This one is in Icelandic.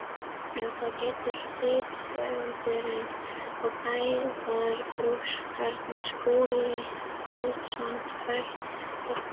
Um það getur rithöfundurinn og fræðagrúskarinn Skúli Guðjónsson frætt okkur.